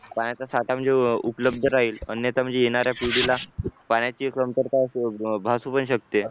पाण्याचा साठा म्हणजे उपलब्ध राहील अन्यथा म्हणजे येणाऱ्या पिढीला पाण्याची कमतरता भासू पण शकते.